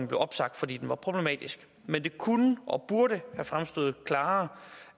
blev opsagt fordi den var problematisk men det kunne og burde have fremstået klarere